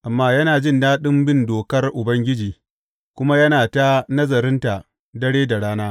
Amma yana jin daɗin bin dokar Ubangiji, kuma yana ta nazarinta dare da rana.